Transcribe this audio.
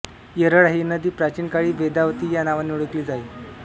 येरळा ही नदी प्रचीन काळी वेदावती या नावाने ओळकली जाई